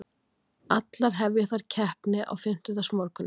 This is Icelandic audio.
Allar hefja þær keppni á fimmtudagsmorguninn